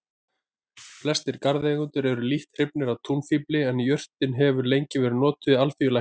Flestir garðeigendur eru lítt hrifnir af túnfífli en jurtin hefur lengi verið notuð í alþýðulækningum.